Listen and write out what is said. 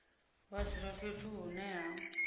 vha dzula fhethu hune ha